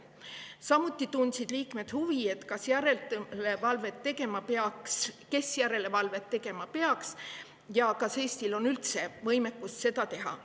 Samuti tundsid liikmed huvi selle vastu, kes järelevalvet tegema peaks ja kas Eestil on üldse võimekus seda teha.